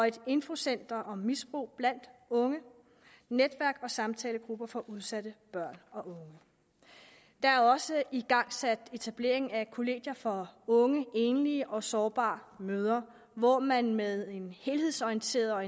et infocenter om misbrug blandt unge og netværk og samtalegrupper for udsatte børn og unge der er også igangsat etablering af kollegier for unge enlige og sårbare mødre hvor man med en helhedsorienteret og